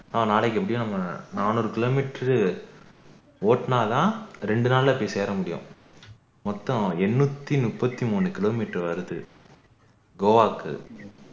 ஆஹ் நாளைக்கு எப்படியும் நம்ம நாநூறு kilometer ரு ஓட்டுனாதான் இரண்டு நாளுல போய் சேர முடியும் மொத்தம் எண்ணூத்தி முப்பதி மூணு kilometer வருது கோவாக்கு